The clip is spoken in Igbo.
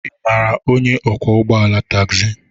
Ị maara onye ọkwọ ụgbọ ala tagzi?